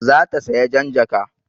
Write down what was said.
Za ta saya jan jaka